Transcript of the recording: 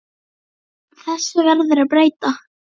Þessu verður að breyta!